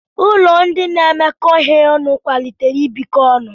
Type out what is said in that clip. Ụlọ ndị na-emekọ ihe ọnụ kwalitere ibikọ ọnụ.